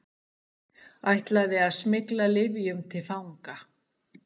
Ætlaði að smygla lyfjum til fanga